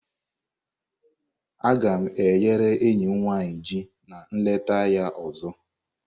Aga m e ghere enyi m nwanyị ji na nleta ya ọzọ.